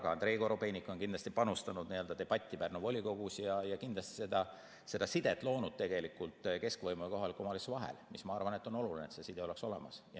Ka Andrei Korobeinik on kindlasti panustanud debatti Pärnu volikogus ja kindlasti seda sidet loonud keskvõimu ja kohaliku omavalitsuse vahel, mis, ma arvan, on oluline, et see side oleks olemas.